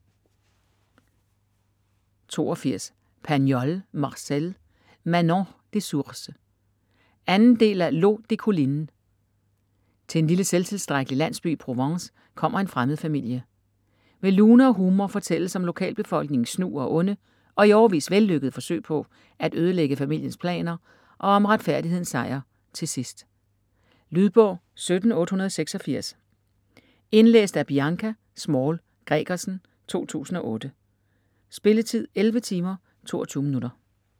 82 Pagnol, Marcel: Manon des sources 2. del af L'eau des collines. Til en lille selvtilstrækkelig landsby i Provence kommer en fremmed familie. Med lune og humor fortælles om lokalbefolkningens snu og onde - og i årevis vellykkede - forsøg på at ødelægge familiens planer og om retfærdighedens sejr til sidst. Lydbog 17886 Indlæst af Bianca Small Gregersen, 2008. Spilletid: 11 timer, 22 minutter.